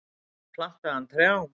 Þar plantaði hann trjám.